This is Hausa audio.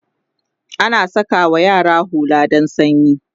ana sakawa yara hulla dan sanyi